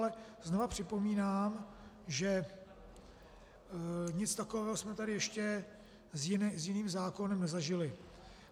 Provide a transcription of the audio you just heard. Ale znovu připomínám, že nic takového jsme tady ještě s jiným zákonem nezažili.